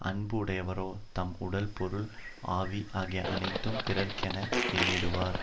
அன்பு உடையவரோ தம் உடல் பொருள் ஆவி ஆகிய அனைத்தும் பிறருக்கென எண்ணிடுவார்